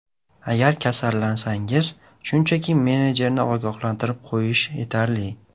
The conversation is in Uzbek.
Agar kasallansangiz, shunchaki menejerni ogohlantirib qo‘yish yetarli.